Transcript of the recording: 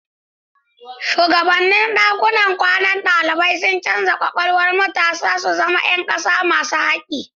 Shugabannin dakunan kwanan dalibai suna canza kwakwalwar matasa su zama ’yan kasa masu hakki.